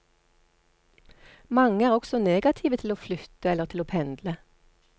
Mange er også negative til å flytte eller til å pendle.